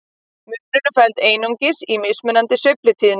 Munurinn felst einungis í mismunandi sveiflutíðni.